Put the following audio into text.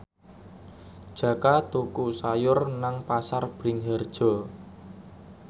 Jaka tuku sayur nang Pasar Bringharjo